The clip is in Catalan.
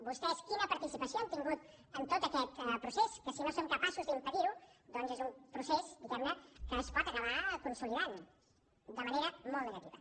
vostès quina participació han tingut en tot aquest procés que si no són capaços d’impedir ho doncs és un procés diguem ne que es pot acabar consolidant de manera molt negativa